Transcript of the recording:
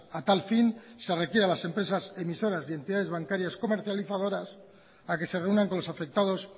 a tal fin se requiere a las empresas emisoras y entidades bancarias comercializadoras a que se reúnan con los afectados